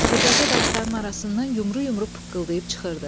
Xırdaca daşların arasından yumru-yumru pıqqıldayıb çıxırdı.